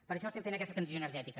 per això fem aquesta transició energètica